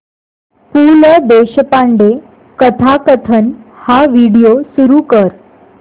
पु ल देशपांडे कथाकथन हा व्हिडिओ सुरू कर